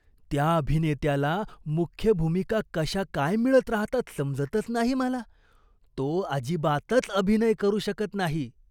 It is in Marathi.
त्या अभिनेत्याला मुख्य भूमिका कशा काय मिळत राहतात समजतच नाही मला. तो अजिबातच अभिनय करू शकत नाही.